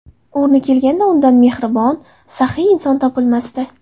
O‘rni kelganda, undan mehribon, saxiy inson topilmasdi.